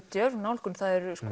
djörf nálgun það er